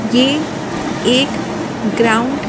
ये एक ग्राउंड' --